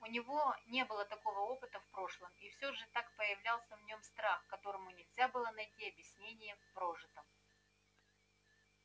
у него не было такого опыта в прошлом и всё же так проявлялся в нём страх которому нельзя было найти объяснения в прожитом